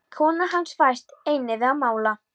Kona hans fæst einnig við að mála.